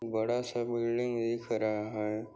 बड़ासा बिल्डिंग दिख रहा है।